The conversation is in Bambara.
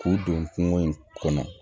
K'u don kungo in kɔnɔ